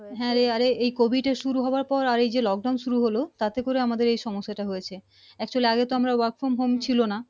হ্যাঁ রে আরে এই COVID এর শুরু হওয়ার পর এই যে lock down শুরু হলো তাতে করে আমাদের এই সমস্যা টা হয়েছে actually আগে তো আমরা work from home ছিলো না